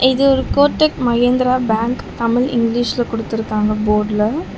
இது ஒரு கோடக் மகேந்திரா பேங்க் தமிழ் இங்கிலீஷ்ல குடுத்திருக்காங்க போட்ல .